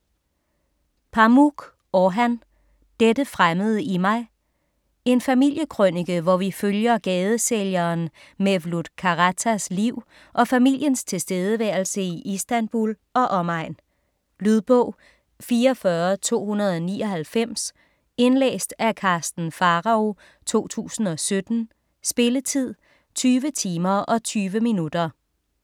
Pamuk, Orhan: Dette fremmede i mig En familiekrønike hvor vi følger gadesælgeren Mevlut Karatas liv og familiens tilværelse i Istanbul og omegn. Lydbog 44299 Indlæst af Karsten Pharao, 2017. Spilletid: 20 timer, 20 minutter.